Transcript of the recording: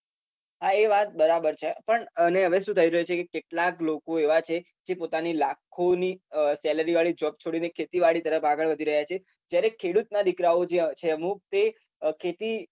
હા એ વાત બરાબર છે પણ અને હવે શું થઈ રહ્યું છે કે કેટલાક લોકો એવા છે જે પોતાની લાખોની અમ salary વાળી job છોડીને ખેતીવાડી તરફ આગળ વધી રહ્યા છે જયારે ખેડૂતના દીકરાઓ જે છે અમુક અમ તે ખેતી